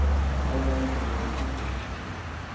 пожалуйста говори чётче